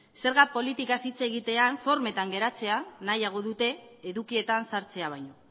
zerga politikaz hitz egitea formetan geratzea nahiago dute edukietan sartzea baino